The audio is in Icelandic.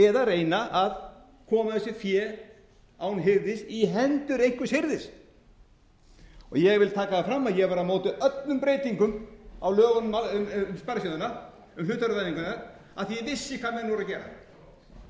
eða reyna að koma þessu fé án hirðis í hendur einhvers hirðis ég vil taka það fram að ég var á móti öllum breytingum á lögunum um sparisjóðina um hlutafjárvæðinguna af því að ég vissi hvað menn voru að gera